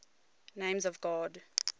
names of god